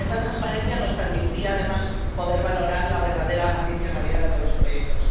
Y esta transparencia nos permitiría, además, poder valorar la verdadera adicionalidad de los proyectos.